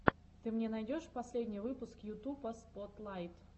ты мне найдешь последний выпуск ютуба спотлайт